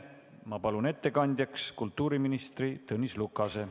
Ma palun ettekandjaks kultuuriminister Tõnis Lukase.